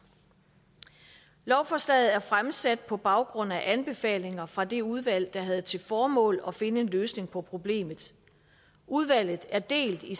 lovforslaget er fremsat på baggrund af anbefalinger fra det udvalg der havde til formål at finde en løsning på problemet udvalget er delt i